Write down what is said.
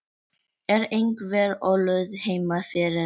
Er einhver ólund heima fyrir?